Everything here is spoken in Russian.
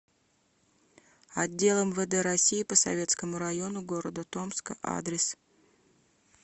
отдел мвд россии по советскому району г томска адрес